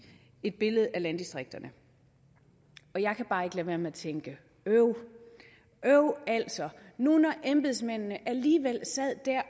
et billede af landdistrikterne jeg kan bare ikke lade være med at tænke øv øv altså nu når embedsmændene alligevel sad der